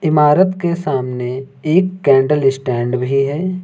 इमारत के सामने एक कैंडल स्टैंड भी है।